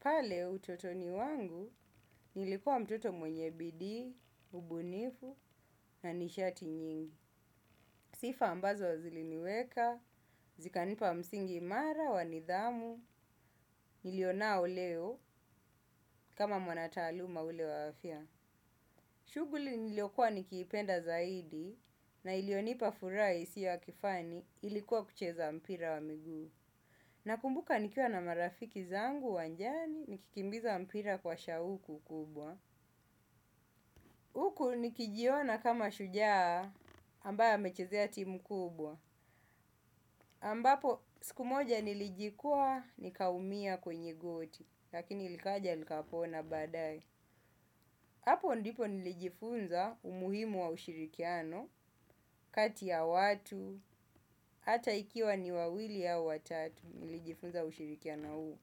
Pale utotoni wangu nilikuwa mtoto mwenye bidii, ubunifu na nishati nyingi. Sifa ambazo ziliniweka, zikanipa msingi imara, wa nidhamu, nilionao leo kama mwanataaluma yule wa afya. Shughuli niliokuwa nikiipenda zaidi na ilionipa furaha isiyo ya kifani ilikuwa kucheza mpira wa miguu. Nakumbuka nikiwa na marafiki zangu uwanjani nikikimbiza mpira kwa shauku kubwa. Huku nikijiona kama shujaa ambaye amechezea timu kubwa, ambapo siku moja nilijikwaa nikaumia kwenye goti, lakini likaja likapona baadaye. Hapo ndipo nilijifunza umuhimu wa ushirikiano, kati ya watu, hata ikiwa ni wawili au watatu, nilijifunza ushirikiano huu.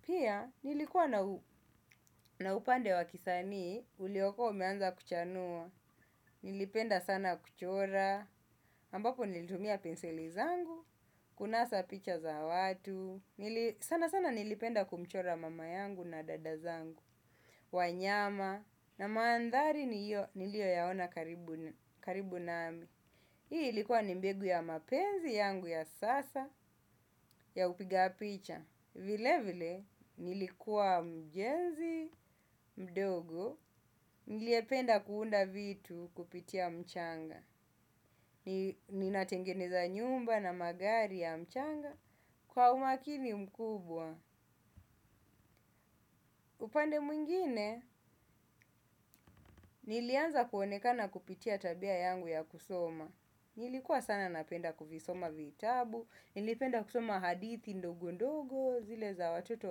Pia, nilikuwa na upande wa kisanii, uliokuwa umeanza kuchanua, nilipenda sana kuchora, ambapo nilitumia penseli zangu, kunasa picha za watu, sana sana nilipenda kumchora mama yangu na dada zangu, wanyama na mandhari nilioyaona karibu nami. Hii ilikuwa ni mbegu ya mapenzi yangu ya sasa ya upiga picha. Vile vile nilikuwa mjenzi mdogo, niliyependa kuunda vitu kupitia mchanga, ninatengeneza nyumba na magari ya mchanga kwa umakini mkubwa. Upande mwingine, nilianza kuonekana kupitia tabia yangu ya kusoma. Nilikuwa sana napenda kuvisoma vitabu. Nilipenda kusoma hadithi ndogo ndogo zile za watoto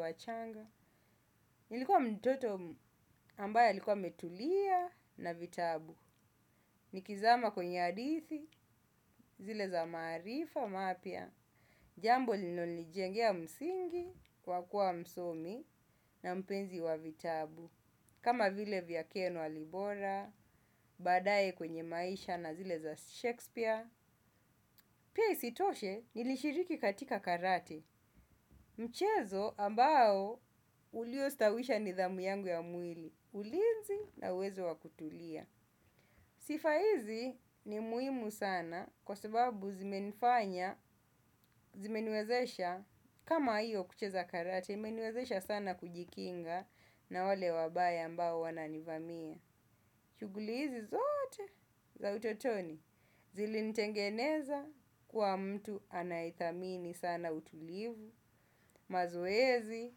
wachanga. Nilikuwa mtoto ambaye alikuwa ametulia na vitabu. Nikizama kwenye hadithi zile za maarifa mapya jambo linolijengea msingi kwa kuwa msomi na mpenzi wa vitabu. Kama vile vya Ken Walibora, baadaye kwenye maisha na zile za Shakespeare. Pia isitoshe nilishiriki katika karate. Mchezo ambao uliostawisha nidhamu yangu ya mwili, ulinzi na uwezo wa kutulia. Sifa hizi ni muhimu sana kwa sababu zimenifanya, zimeniwezesha kama hiyo kucheza karate, imeniwezesha sana kujikinga na wale wabaya ambao wananivamia. Shughuli hizi zote za utotoni zilinitengeneza kuwa mtu anayethamini sana utulivu, mazoezi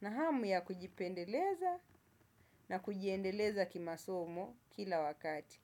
na hamu ya kujipendeleza na kujiendeleza kimasomo kila wakati.